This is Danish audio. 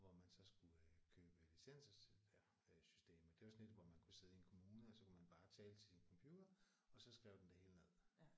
Hvor man så skulle øh købe licenser til systemet. Det var sådan et hvor man kunne sidde i en kommune og så kunne man bare tale til sin computer og så skrev den det hele ned